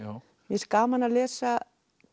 finnst gaman að lesa